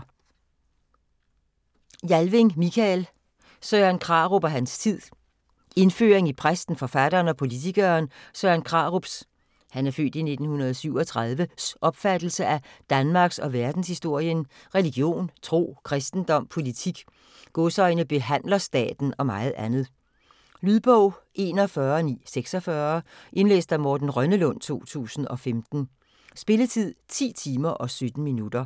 Jalving, Mikael: Søren Krarup og hans tid Indføring i præsten, forfatteren og politikeren Søren Krarups (f. 1937) opfattelse af danmarks- og verdenshistorien, religion, tro, kristendom, politik, "behandlerstaten" og meget andet. Lydbog 41946 Indlæst af Morten Rønnelund, 2015. Spilletid: 10 timer, 17 minutter.